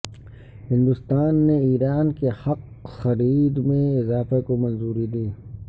ہندوستان نے ایران کے حق خریدمیں اضافہ کو منظوری دی